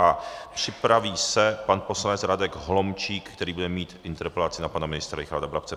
A připraví se pan poslanec Radek Holomčík, který bude mít interpelaci na pana ministra Richarda Brabce.